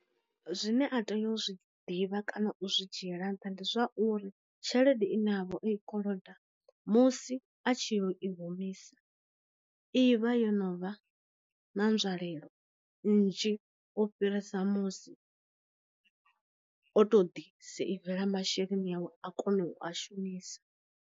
Zwine a tea u zwi ḓivha kana u zwi dzhiela nṱha ndi zwauri, tshelede i navho i koloda musi a tshi yo i humisa i vha yo no vha na nzwalelo nnzhi o fhirisa musi o to ḓi seivela masheleni awe a kona u a shumisa.